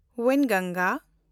ᱣᱮᱱᱜᱚᱝᱜᱟ